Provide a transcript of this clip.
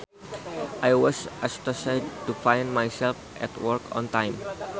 I was astonished to find myself at work on time